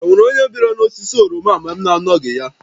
E nwere onye biara n'osisi oroma a mgbe m na-anọghị ya?